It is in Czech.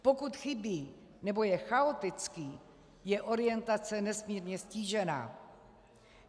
Pokud chybí nebo je chaotický, je orientace nesmírně ztížená.